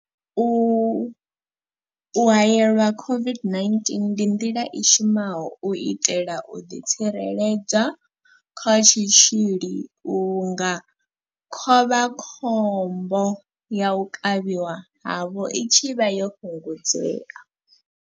U haelelwa COVID-19 ndi nḓila i shumaho u itela u ḓitsireledza kha tshitzhili vhunga khovhakhombo ya u kavhiwa havho i tshi vha yo fhungudzea.